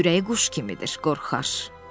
Ürəyi quş kimidir, qorxaq.